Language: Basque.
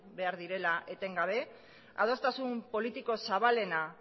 behar direla etengabe adostasun politiko zabalena